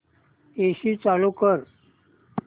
AC चालू कर